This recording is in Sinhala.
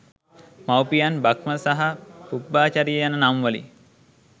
මවුපියන් බ්‍රහ්ම සහ පුබ්බාචරිය යන නම්වලින්